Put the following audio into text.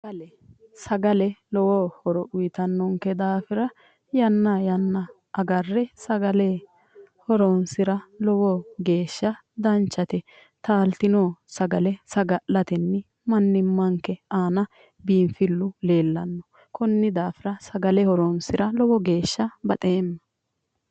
Sagale, sagale lowo horo uyittanonke daafira yanna yanna agarre sagale horonsira lowo geeshsha danchate ,taalitino sagale saga'latenni manimmanke biinfilu leellano koni daafira sagale horinsira lowo geeshsha baxeemma".